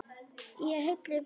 Í heilli bók.